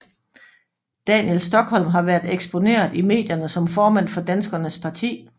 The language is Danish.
Daniel Stokholm har været eksponeret i medierne som formand for Danskernes Parti